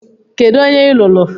Kedụ onye ị lụrụ?